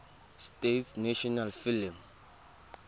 states national film